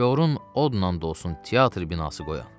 Gorun odla dolsun teatr binası qoyan.